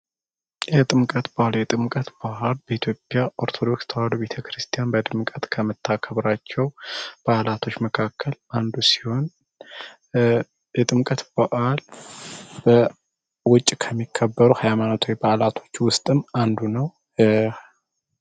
የጥምቀት በዓል የጥምቀት በዓል በኢትዮጵያ ኦርቶዶክስ ተዋህዶ ቤተክርስቲያን በድምቀት ከምታከብራቸው በዓላቶች መካከል አንዱ ሲሆን የጥምቀት በዓል በውጭ ከሚከበሩ በዓላቶች ውስጥም አንዱ ነው።